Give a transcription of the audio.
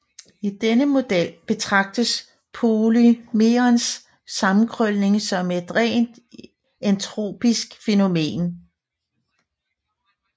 I denne model betragtes polymerens sammenkrølning som et rent entropisk fænomen